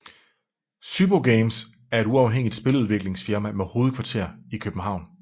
SYBO Games er et uafhængigt spiludviklingsfirma med hovedkvarter i København